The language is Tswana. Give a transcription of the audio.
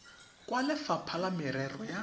kwa lefapha la merero ya